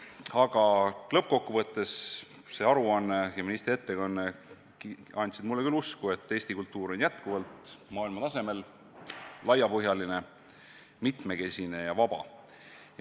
Aga lõppkokkuvõttes see aruanne ja ministri ettekanne andsid mulle küll usku, et Eesti kultuur on jätkuvalt maailmatasemel, laiapõhjaline, mitmekesine ja vaba.